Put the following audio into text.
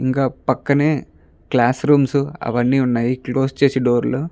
ఇంకా పక్కనే classrooms అవన్నీ వున్నాయ్ క్లోస్స్ చేసి డోర్లు .